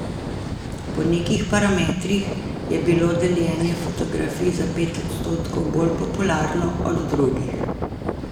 Po nekih parametrih je bilo deljenje fotografij za pet odstotkov bolj popularno od drugih.